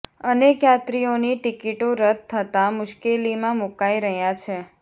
અનેક યાત્રીઓની ટિકિટો રદ થતાં મુશ્કેલીમાં મુકાઈ રહ્યા છે